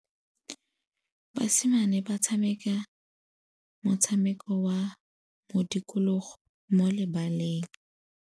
Basimane ba tshameka motshameko wa modikologô mo lebaleng.